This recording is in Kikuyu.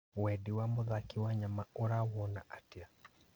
Wendi wa mũthaki Wanyama ũrawona atĩa?